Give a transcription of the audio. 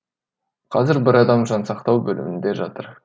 қазір бір адам жансақтау бөлімінде жатыр